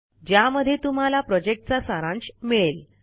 ज्यामध्ये तुम्हाला प्रॉजेक्टचा सारांश मिळेल